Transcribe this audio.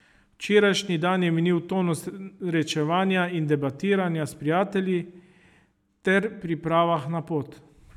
Včerajšni dan je minil v tonu srečevanja in debatiranja z prijatelji ter pripravah na pot.